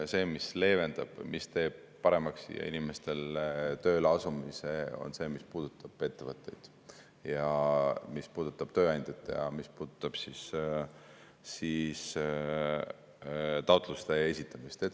See, mis leevendab või mis teeb paremaks inimestel siia tööleasumise, puudutab ettevõtteid ja tööandjaid ja taotluste esitamist.